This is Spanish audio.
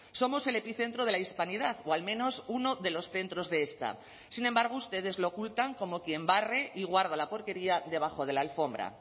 somos el epicentro de la hispanidad o al menos uno de los centros de esta sin embargo ustedes lo ocultan como quien barre y guarda la porquería debajo de la alfombra